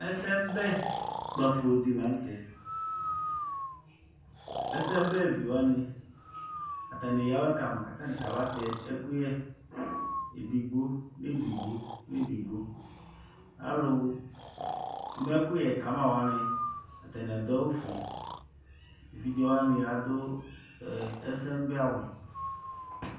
Ɛsɛmʋbɛ kpafo dɩ la nʋ tɛ Ɛsɛmʋbɛvi wanɩ, atanɩ eyǝ awɛ ka ma kʋ atanɩ kabatɛ ɛkʋyɛ edigbo nʋ edigbo, alʋ ma ɛkʋyɛ ka ma wanɩ, atanɩ adʋ awʋfue Evidze wanɩ adʋ ɛsɛmʋbɛawʋ